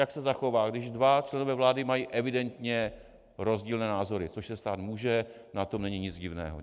Jak se zachová, když dva členové vlády mají evidentně rozdílné názory - což se stát může, na tom není nic divného.